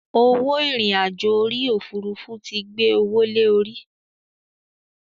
Owó irin àjò orí Òfurufú tí gbé owó lè orí.